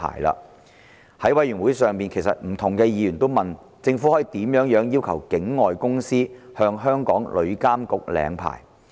在法案委員會會議上，不同的議員也問到，政府可以怎樣要求境外公司向香港旅監局領牌？